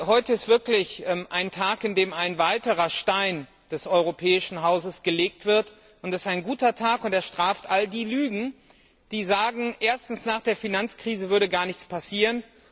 Heute ist wirklich ein Tag, an dem ein weiterer Stein des Europäischen Hauses gelegt wird. Es ist ein guter Tag, und er straft alle jene Lügen, die sagen, nach der Finanzkrise würde gar nichts passieren.